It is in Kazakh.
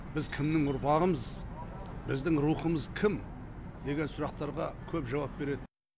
біз кімнің ұрпағымыз біздің рухымыз кім деген сұрақтарға көп жауап береді